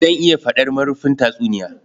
Zan iya faɗar marufin tatsuniya